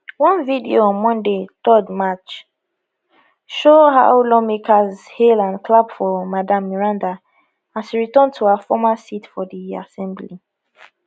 one video on monday 3 march show how lawmakers hail and clap for madam meranda as she return to her former seat for di assembly